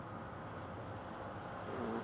অহ